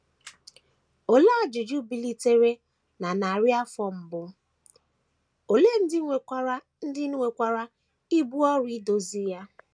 Olee ajụjụ bilitere na narị afọ mbụ, ole ndị nwekwara ndị nwekwara ibu ọrụ idozi ya?